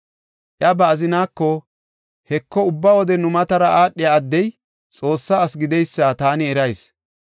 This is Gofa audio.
Iya ba azinaako, “Heko, ubba wode nu matara aadhiya addey Xoossaa asi gideysa taani erayis.